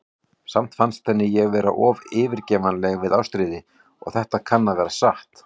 Samt fannst henni ég vera of eftirgefanleg við Ástríði, og það kann að vera satt.